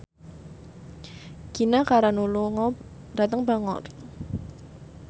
Gina Carano lunga dhateng Bangor